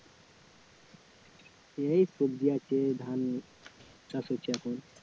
এই সবজি আছে, ধান চাষ হচ্ছে এখন